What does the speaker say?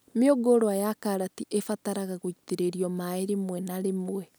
Mĩũngũrwa ya karati ĩbataraga gũitĩrĩrio maĩ rĩmwe na rĩmwe